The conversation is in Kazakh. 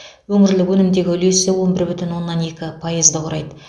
өңірлік өнімдегі үлесі он бір бүтін оннан екі пайызды құрайды